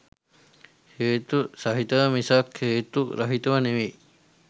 හේතු සහිතව මිසක් හේතු රහිතව නෙවෙයි